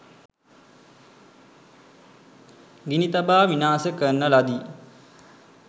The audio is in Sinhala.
ගිනි තබා විනාශ කරන ලදී